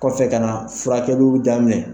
Kɔfɛ ka na furakɛliw daminɛn.